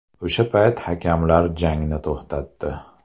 O‘sha payt hakamlar jangni to‘xtatdi.